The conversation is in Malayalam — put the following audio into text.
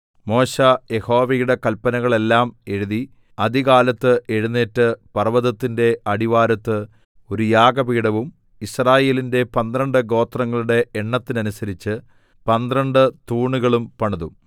മോശെ യഹോവയുടെ കല്പ്നകളെല്ലാം എഴുതി അതികാലത്ത് എഴുന്നേറ്റ് പർവ്വതത്തിന്റെ അടിവാരത്ത് ഒരു യാഗപീഠവും യിസ്രായേലിന്റെ പന്ത്രണ്ട് ഗോത്രങ്ങളുടെ എണ്ണത്തിനനുസരിച്ച് പന്ത്രണ്ട് തൂണുകളും പണിതു